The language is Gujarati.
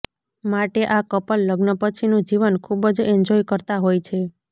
માટે આ કપલ લગ્ન પછીનું જીવન ખુબ જ એન્જોય કરતા હોય છે